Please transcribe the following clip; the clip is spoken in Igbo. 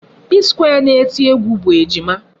Psquare na-eti egwu bụ Ejima.